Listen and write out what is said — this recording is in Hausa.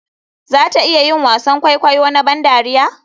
Za ta iya yin wasan kwaikwayo na ban dariya?